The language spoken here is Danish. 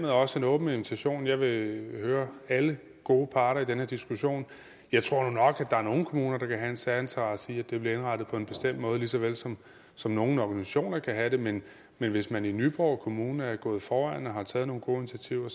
også en åben invitation jeg vil høre alle gode parter i den her diskussion jeg tror nu nok at der er nogle kommuner der kan have en særinteresse i at det bliver indrettet på en bestemt måde lige så vel som som nogle organisationer kan have det men men hvis man i nyborg kommune er gået foran og har taget nogle gode initiativer